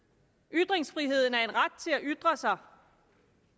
ytringsfriheden er en ret til at ytre sig